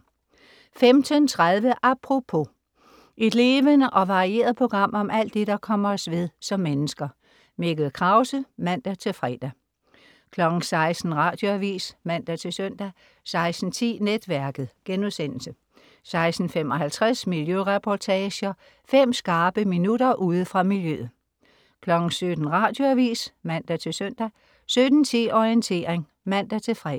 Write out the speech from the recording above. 15.30 Apropos. Et levende og varieret program om alt det, der kommer os ved som mennesker. Mikkel Krause (man-fre) 16.00 Radioavis (man-søn) 16.10 Netværket* 16.55 Miljøreportager. Fem skarpe minutter ude fra miljøet 17.00 Radioavis (man-søn) 17.10 Orientering (man-fre)